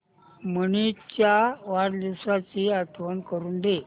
मनीष च्या वाढदिवसाची आठवण करून दे